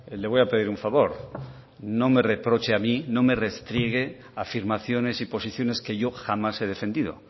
le voy a pedir un favor no me reproche a mí no me restriegue afirmaciones y posiciones que yo jamás he defendido